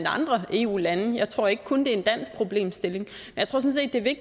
andre eu lande jeg tror ikke kun er en dansk problemstilling